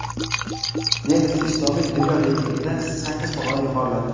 Denis Istomin dunyo reytingida sakkiz pog‘ona yuqoriladi.